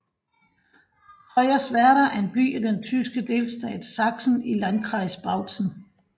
Hoyerswerda er en by i den tyske delstat Sachsen i Landkreis Bautzen